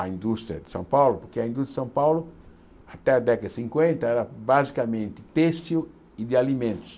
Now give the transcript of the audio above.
a indústria de São Paulo, que a indústria de São Paulo, até a década de cinquenta, era basicamente têxtil e de alimentos.